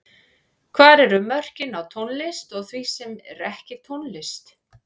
Hvar eru mörkin á tónlist og því sem er ekki tónlist?